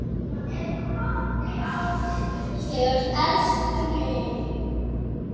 Þeir elskuðu mig.